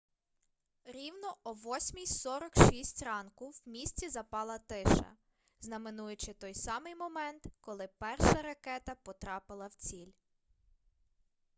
рівно о 8:46 ранку в місті запала тиша знаменуючи той самий момент коли перша ракета потрапила в ціль